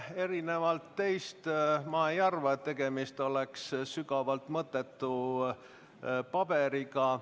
Erinevalt teist ma ei arva, et tegemist oleks sügavalt mõttetu paberiga.